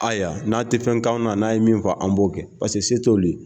Ayiwa n'a tɛ fɛnkanw na n'a ye min fɔ an b'o kɛ paseke se t'u ye.